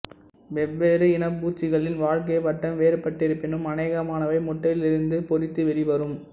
வெவ்வேறு இனப் பூச்சிகளின் வாழ்க்கை வட்டம் வேறுபட்டிருப்பினும் அனேகமானவை முட்டையிலிருந்து பொரித்து வெளிவரும்